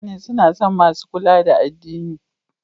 Mutane suna son masu kula da addini.